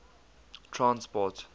transport